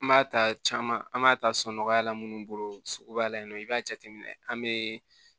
An b'a ta caman an b'a ta sɔn nɔgɔya la minnu bolo sugu ba la yen nɔ i b'a jateminɛ an bɛ